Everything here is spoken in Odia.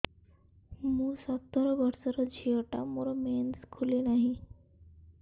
ମୁ ସତର ବର୍ଷର ଝିଅ ଟା ମୋର ମେନ୍ସେସ ଖୁଲି ନାହିଁ